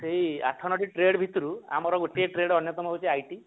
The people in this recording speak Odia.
ସେଇ ଆଠ ନ ଟି trade ଭିତରୁ ଆମର ଗୋଟିଏ trade ଅନ୍ଯତମ ହଉଛି IT